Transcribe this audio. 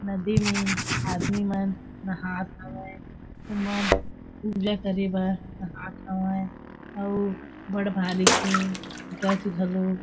नदी में आदमी मन नहात हावय उमन पूजा करे बा नहात हावय अउ बट भाड़ी के जश झलो--